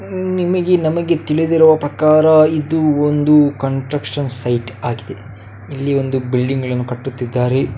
ನಿಮಗೆ ನಮಗೆ ತಿಳಿದಿರುವ ಪ್ರಕಾರ ಇದು ಒಂದು ಕನ್ಸಟ್ರಕ್ಷನ್‌ ‌ ಸೈಟ್ ಆಗಿದೆ ಇಲ್ಲಿ ಒಂದು ಬಿಲ್ಡಿಂಗ್‌ ಗಳನ್ನು ಕಟ್ಟುತ್ತಿದ್ದಾರೆ --